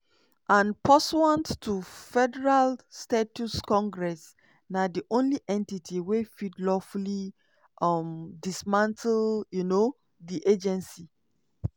"and pursuant to federal statute congress na di only entity wey fit lawfully um dismantle um di agency."